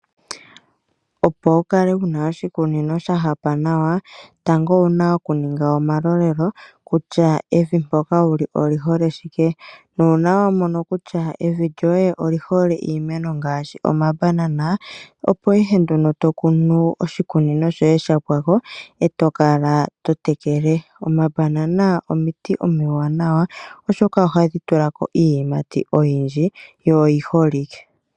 Opo wu kale wuna oshikunino sha hapa nawa tango owuna oku ninga omalolelo kutya evi mpoka wuli oli hole shike nu una wa mono kutya evi lyoye oli hole iimeno ngashi omabanana. Opo ihe nduno to kunu oshikunino shoye sha pwako eto kala to tekele. Omabanana omiti omiwanawa oshoka ohadhi tulako iiyimati oyindji yo oyi holike.